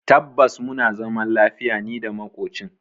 Tabbas muna zaman lafiya nida makocin.